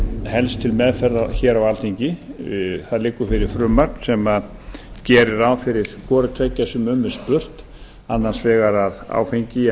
helst til meðferðar hér á alþingi það liggur fyrir frumvarp sem gerir ráð fyrir hvorutveggja sem um er spurt annars vegar að áfengi að